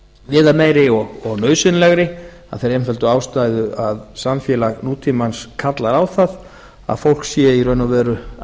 viðameiri og nauðsynlegri af þeirri einföldu ástæðu að samfélag nútímans kallar á það að fólk sé í raun og veru að